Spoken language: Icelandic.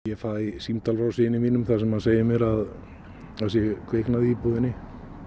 ég fæ símtal frá syni mínum þar sem hann segir mér að það sé kviknað í íbúðinni